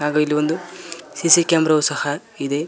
ಹಾಗು ಇಲ್ಲಿ ಒಂದು ಸಿ_ಸಿ ಕ್ಯಾಮೆರ ವು ಸಹ ಇದೆ.